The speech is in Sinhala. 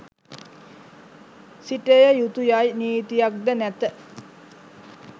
සිටය යුතු යයි නීතියක්ද නැත.